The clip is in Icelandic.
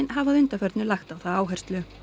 hafi að undanförnu lagt á það áherslu